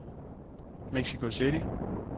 Mexico City